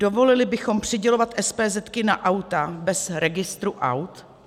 Dovolili bychom přidělovat SPZ na auta bez registru aut?